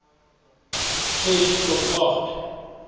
ses tot agt